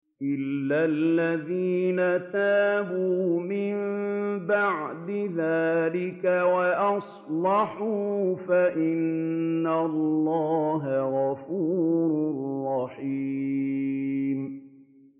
إِلَّا الَّذِينَ تَابُوا مِن بَعْدِ ذَٰلِكَ وَأَصْلَحُوا فَإِنَّ اللَّهَ غَفُورٌ رَّحِيمٌ